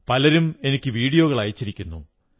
പലരും എനിക്ക് വീഡിയോകൾ അയച്ചിരിക്കുന്നു